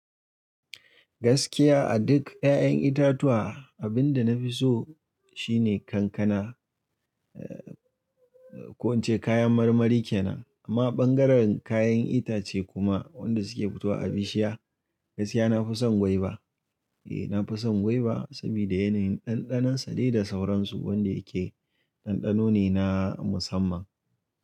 Gaskiya a duk 'ya'yan itatuwa, abin da na fi so shine kankana, ko ince kayan marmari kenan. Amma ɓangaren kayan itace kuma, wanda suke fitowa a bishiya, gaskiya na fi son gwaiba. Eh na fi son gwaiba, sabida yanayin ɗanɗanon sa dai da sauransu, wanda yake ɗanɗano ne na musamman.